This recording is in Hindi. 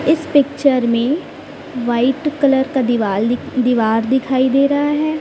इस पिक्चर में वाइट कलर का दीवाल दि दीवार दिखाई दे रहा है।